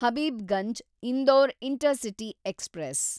Habibganj Indore intercity express